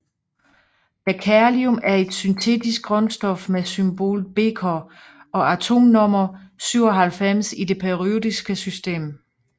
Berkelium er et syntetisk grundstof med symbolet Bk og atomnummer 97 i det periodiske system